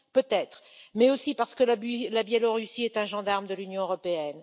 Peut être, mais aussi parce que la Biélorussie est un gendarme de l'Union européenne.